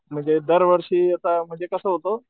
म्हणजे दार वर्षी आता म्हणजे कस होत,